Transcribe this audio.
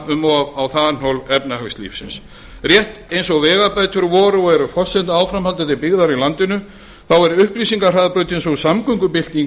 um of á þanþol efnahagslífsins rétt eins og vegabætur voru og eru forsendur áframhaldandi byggðar í landinu er upplýsingahraðbrautin sú samgöngubylting